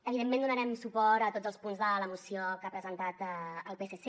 evidentment donarem suport a tots els punts de la moció que ha presentat el psc